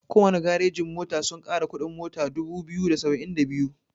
Kowana garejin mota sun kara kuɗin mota dubu biyu da saba'in da biyu.